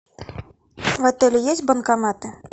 в отеле есть банкоматы